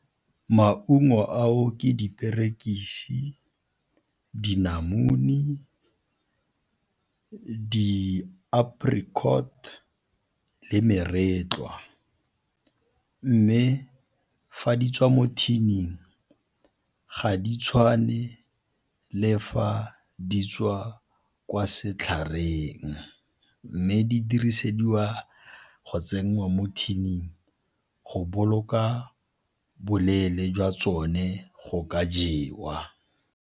Maungo ao ke diperekisi, dinamune, di-apricot le meretlwa, mme fa di tswa mo tin-ing ga di tshwane le fa di tswa kwa setlhareng. Mme di dirisediwa go tsenngwa mo tin-ing go boloka boleele jwa tsone go ka jewa.